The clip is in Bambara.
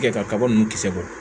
Tigɛ kaba ninnu kisɛ bɔ